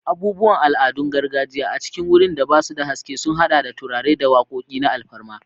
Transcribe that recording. Abubuwan al'adun gargajiya a cikin wurin da ba su da haske sun haɗa da turare da wakoki na alfarma.